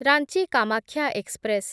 Ranchi Kamakhya express